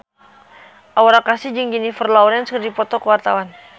Aura Kasih jeung Jennifer Lawrence keur dipoto ku wartawan